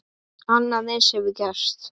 Annað eins hefur gerst.